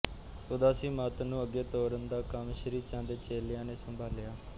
ਉਦਾਸੀ ਮਤ ਨੂੰ ਅੱਗੇ ਤੋਰਨ ਦਾ ਕੰਮ ਸ਼੍ਰੀਚੰਦ ਦੇ ਚੇਲਿਆਂ ਨੇ ਸੰਭਾਲਿਆ